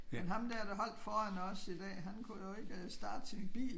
Men ham dér der holdt foran os i dag han kunne dog ikke øh starte sin bil